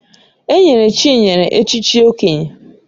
Enyere Chinyere echichi Okenye